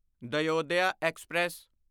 Dayodaya express